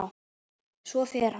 Svo fer hann.